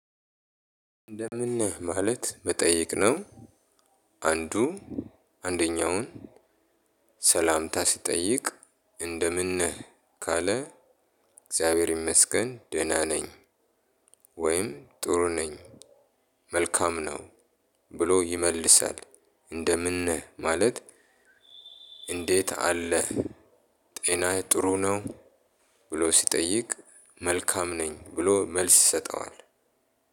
እንደምን ነህ ማለት መጠየቅ ነው? አንዱ አንደኛውን ሰላምታ ሲጠይቅ እንደምን ነህ ካለ እግዚአብሔር ይመስገን ደህና ነኝ። ወይም ጥሩ ነኝ። መልካም ነው ብሎ ይመልሳል። እንደምን ነህ ማለት? እንዴት አለህ ጤናህ ጥሩ ነው። ብሎ ሲጠይቅ መልካም ነኝ ብሎ መልስ ይሰጠዋል።